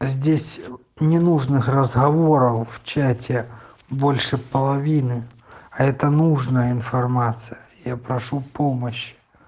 здесь ненужных разговоров в чате больше половины а это нужна информация я прошу помощь